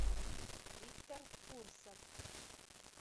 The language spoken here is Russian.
виктор фурсов